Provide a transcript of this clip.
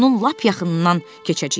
amma onun lap yaxınından keçəcəyik.